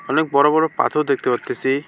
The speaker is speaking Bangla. অনেক বড়ো বড়ো পাথর দেখতে পারতাছি।